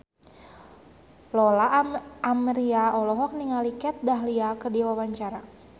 Lola Amaria olohok ningali Kat Dahlia keur diwawancara